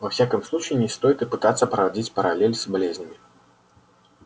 во всяком случае не стоит и пытаться проводить параллель с болезнями